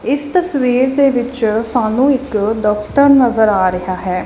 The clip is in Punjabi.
ਇਸ ਤਸਵੀਰ ਦੇ ਵਿਚ ਸਾਨੂੰ ਇੱਕ ਦਫ਼ਤਰ ਨਜਰ ਆ ਰਿਹਾ ਹੈ।